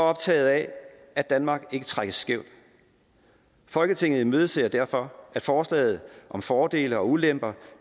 optaget af at danmark ikke trækkes skævt folketinget imødeser derfor at forslaget om fordele og ulemper